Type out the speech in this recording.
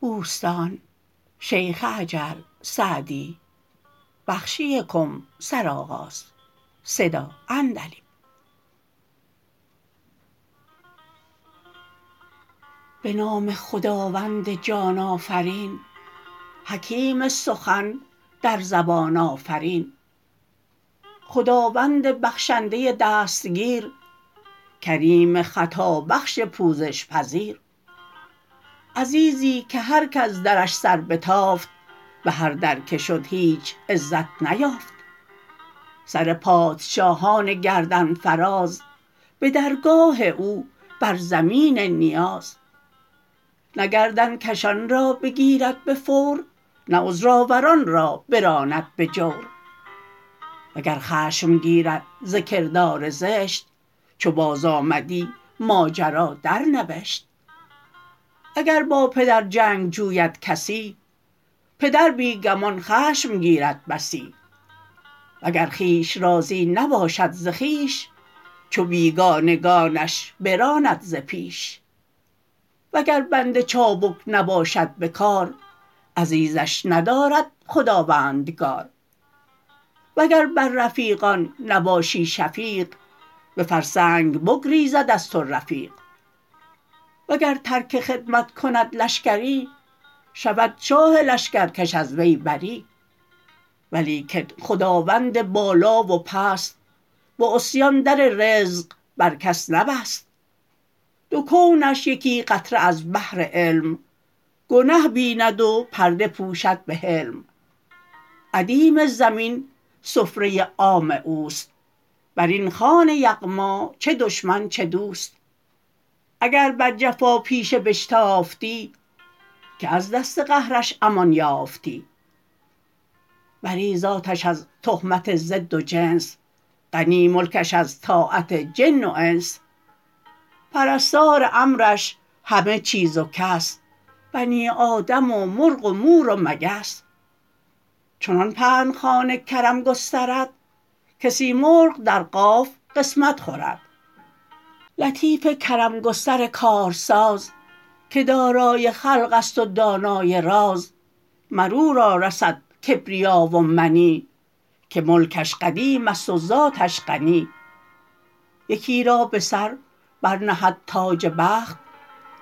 به نام خداوند جان آفرین حکیم سخن در زبان آفرین خداوند بخشنده دستگیر کریم خطابخش پوزش پذیر عزیزی که هر کز درش سر بتافت به هر در که شد هیچ عزت نیافت سر پادشاهان گردن فراز به درگاه او بر زمین نیاز نه گردن کشان را بگیرد به فور نه عذرآوران را براند به جور وگر خشم گیرد ز کردار زشت چو بازآمدی ماجرا درنوشت اگر با پدر جنگ جوید کسی پدر بی گمان خشم گیرد بسی وگر خویش راضی نباشد ز خویش چو بیگانگانش براند ز پیش وگر بنده چابک نباشد به کار عزیزش ندارد خداوندگار وگر بر رفیقان نباشی شفیق به فرسنگ بگریزد از تو رفیق وگر ترک خدمت کند لشکری شود شاه لشکرکش از وی بری ولیکن خداوند بالا و پست به عصیان در رزق بر کس نبست دو کونش یکی قطره از بحر علم گنه بیند و پرده پوشد به حلم ادیم زمین سفره عام اوست بر این خوان یغما چه دشمن چه دوست اگر بر جفاپیشه بشتافتی که از دست قهرش امان یافتی بری ذاتش از تهمت ضد و جنس غنی ملکش از طاعت جن و انس پرستار امرش همه چیز و کس بنی آدم و مرغ و مور و مگس چنان پهن خوان کرم گسترد که سیمرغ در قاف قسمت خورد لطیف کرم گستر کارساز که دارای خلق است و دانای راز مر او را رسد کبریا و منی که ملکش قدیم است و ذاتش غنی یکی را به سر بر نهد تاج بخت